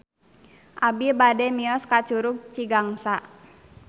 Abi bade mios ka Curug Cigangsa